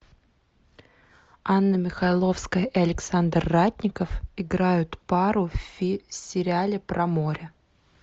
анна михайловская и александр ратников играют пару в сериале про море